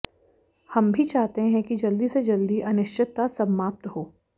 हम भी चाहते हैं कि जल्दी से जल्दी अनिश्चितता समाप्त हो